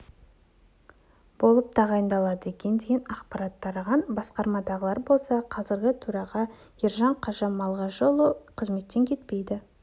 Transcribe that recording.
болып тағайындалады екен деген ақпарат тараған басқармадағылар болса қазіргі төраға ержан қажы малғажыұлы қызметтен кетпейді